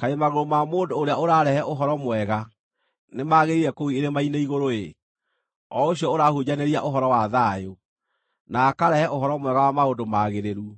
Kaĩ magũrũ ma mũndũ ũrĩa ũrarehe ũhoro mwega, nĩmagĩrĩire kũu irĩma-inĩ igũrũ-ĩ, o ũcio ũrahunjanĩria ũhoro wa thayũ, na akarehe ũhoro mwega wa maũndũ magĩrĩru,